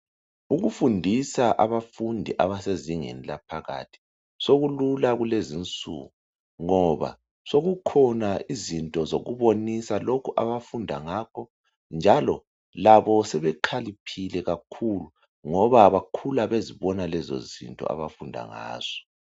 Ukufundisa abafundi abasezingeni laphakathi sokulula kulezinsuku ngoba sokukhona izinto zokubonisa lokhu abafunda ngakho njalo labo sebekhaliphile kakhulu ngoba bakhula bezibona lezozinto abafunda ngazo.